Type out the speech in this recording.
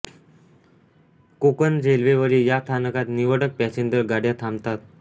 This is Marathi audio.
कोकण रेल्वेवरील या स्थानकात निवडक पॅसेंजर गाड्या थांबतात